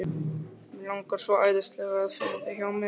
Mig langar svo æðislega til að finna þig hjá mér.